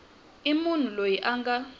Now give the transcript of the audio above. i munhu loyi a nga